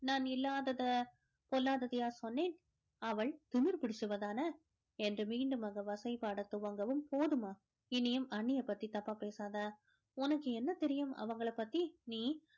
நான் இல்லாதத பொல்லாததயா சொன்னேன் அவள் திமிரு புடிச்சுவதான என்று மீண்டும் அங்கு வசை பாட துவங்கவும் போதுமா இனியும் அண்ணிய பத்தி தப்பா பேசாத உனக்கு என்ன தெரியும் அவங்கள பத்தி நீ